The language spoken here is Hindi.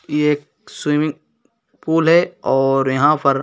ये एक स्विमिंग पूल है और यहाँ पर --